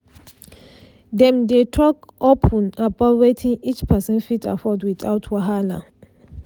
dem dey talk open about wetin each person fit afford without wahala